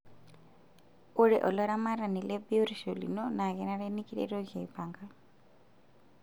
Ore olaramatani lebiotisho lino naa kenare nikiretoki aipanga.